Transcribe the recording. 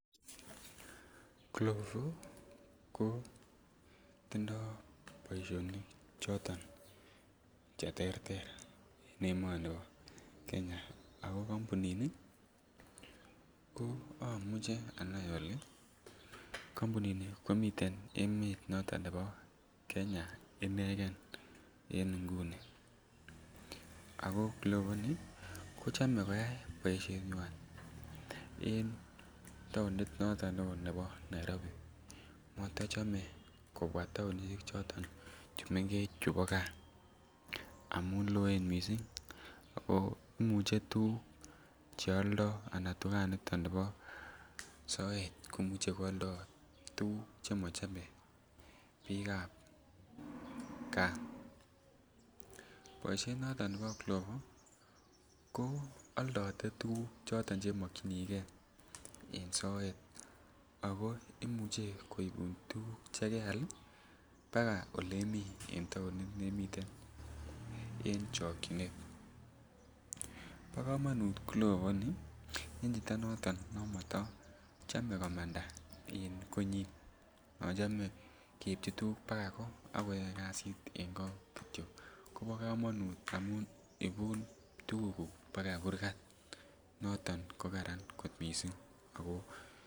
Glovo ko tindo boisionik choton che terter en emoni bo Kenya ako kompunini ko omuche anai ole kompunini komii komosto noton nebo Kenya inegen en ngunii ako glovo ni ko chome koyay boishenywan en tounit noton ne oo nebo Nairobi. Motochome kobwaa tounishek choton che mengech chubo gaa amun loen missing ako imuche tuguk che oldo ana tuganiton nebo soet komuche ko oldo tuguk che mochome biikab gaa. Boishet noton nebo glovo ko aldotet tuguk choton che mokyingee en soet ako imuche koibun tuguk che keal baka olemii en tounit nemiten en chokyinet. Bo komonut glovo ni en chito noton nomoto chome komanda en konyin nochome keibjin tuguk baka go ak koyoe kazit en ngo kityo Kobo komonut amun ibun tugukuk baka kurgat noton ko Karan missing ako